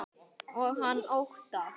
Og hann óttast.